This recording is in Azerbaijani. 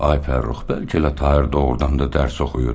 Ay Fərrux, bəlkə elə Tahir doğurdan da dərs oxuyur.